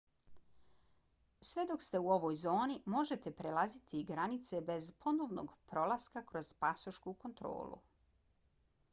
sve dok ste u ovoj zoni možete prelaziti granice bez ponovnog prolaska kroz pasošku kontrolu